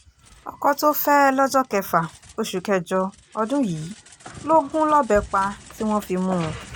ọkọ̀ tó fẹ́ lọ́jọ́ kẹfà oṣù kẹjọ ọdún yìí ló gún lọ́bẹ̀ pa tí wọ́n fi mú un